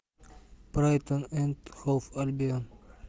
брайтон энд хоув альбион